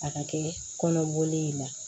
A ka kɛ kɔnɔgolen in na